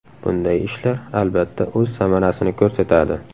Bunday ishlar, albatta, o‘z samarasini ko‘rsatadi.